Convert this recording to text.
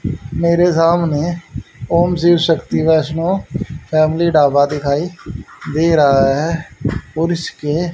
मेरे सामने ओम शिव शक्ति वैष्णो फैमिली ढाबा दिखाई दे रहा है और इसके--